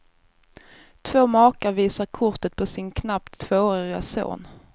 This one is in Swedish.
Två makar visar kortet på sin knappt tvåårige son.